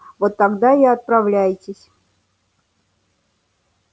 вот тогда и отправляйтесь